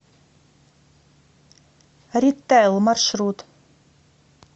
ритэл маршрут